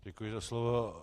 Děkuji za slovo.